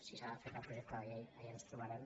si s’ha de fer per projecte de llei allà ens trobarem